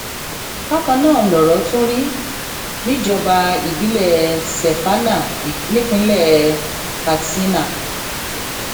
bákan náà lọrọ tún rí níjọba ìbílẹ sefaná nípínlẹ katsina